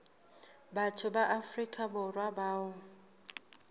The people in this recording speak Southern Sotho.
batho ba afrika borwa bao